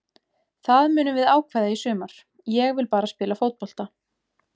Það munum við ákveða í sumar, ég vil bara spila fótbolta.